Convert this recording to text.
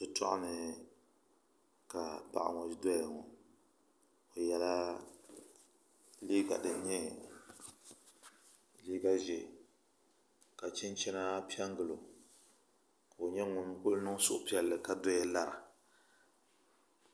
Shitoɣu ni paɣa ŋo doya ŋo o yɛla liiga din nyɛ liiga ʒiɛ ka chinchina piɛ n gilo ka o niŋ suhupiɛlli ka doya lara